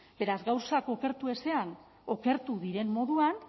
beraz gauzak okertu ezean okertu diren moduan